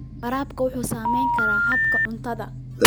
Waraabka wuxuu saameyn karaa habka cuntada.